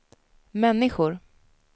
människor